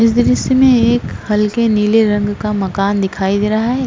दृश्य में एक हल्के नीले रंग का मकान दिखाई दे रहा है।